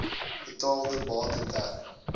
betaalde bate ter